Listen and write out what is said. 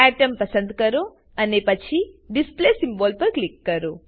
atom પસંદ કરો અને પછી ડિસ્પ્લે સિમ્બોલ પર ક્લિક કરો